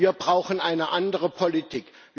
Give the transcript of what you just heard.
Wir brauchen eine andere Politik!